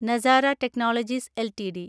Nazara technologies LTD